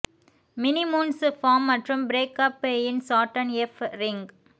mini moons form மற்றும் break up in Saturn F ring